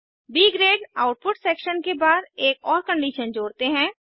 ब grade output section के बाद एक और कंडीशन जोड़ते हैं